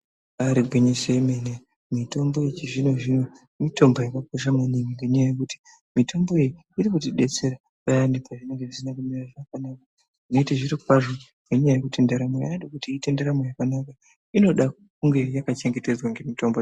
Ibaari gwinyiso yemene mitombo yechizvino zvino mitombo yakakosha maningi ngenyaya yekuti mitomboyo iri kutidetsera payani pazvinenge zvisina kumira zvakanaka yeeite zviro kwazvo ngenyaya yekuti ndaramo yaade kuti iite ndaramo yakanaka inoda kunge yaka chengetedzwa nemitombo.